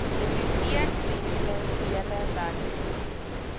biblioteekdienste wheelie wagons